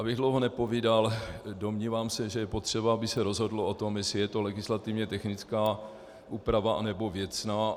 Abych dlouho nepovídal, domnívám se, že je potřeba, aby se rozhodlo o tom, jestli je to legislativně technická úprava, anebo věcná.